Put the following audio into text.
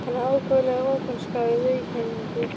Hann er ákaflega opinskár í viðkynningu.